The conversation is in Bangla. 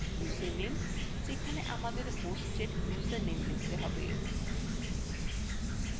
ইউজারনেমযেখানে আমাদের hostএর username লিখতে have